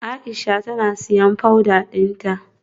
Aisha tana siyan powder dinta.